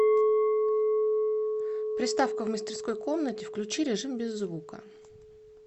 приставка в мастерской комнате включи режим без звука